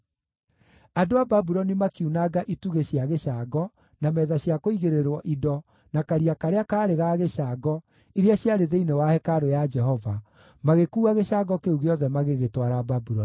Andũ a Babuloni makiunanga itugĩ cia gĩcango, na metha cia kũigĩrĩrwo indo, na Karia karĩa kaarĩ ga gĩcango, iria ciarĩ thĩinĩ wa hekarũ ya Jehova, magĩkuua gĩcango kĩu gĩothe magĩgĩtwara Babuloni.